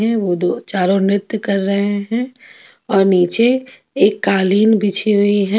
यह वह दो चारो नृत्य कर रहे हैं और नीचे एक कालीन बिछी हुई है.